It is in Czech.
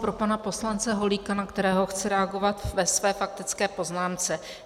Pro pana poslance Holíka, na kterého chci reagovat ve své faktické poznámce.